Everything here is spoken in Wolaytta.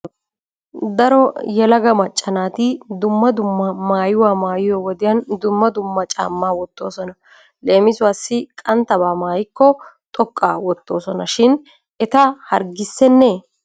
Daro yelaga macca naati dumma dumma maayuwa maayiyo wodiyan dumma dumma caamma wottoosona. Leemisuwaassi qanttaba maayikko xoqqaa wottoosona shin eta harggissennee?